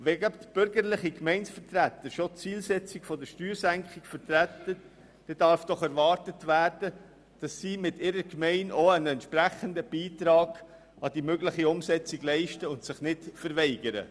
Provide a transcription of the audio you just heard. Wenn bürgerliche Gemeindevertreter die Zielsetzung der Steuersenkung vertreten, darf doch erwartet werden, dass sie mit ihrer Gemeinde auch einen entsprechenden Beitrag leisten und sich nicht verweigern.